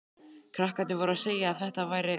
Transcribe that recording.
Krakkarnir voru að segja að þetta væri